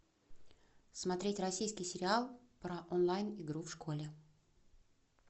смотреть российский сериал про онлайн игру в школе